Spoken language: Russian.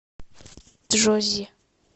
джоззи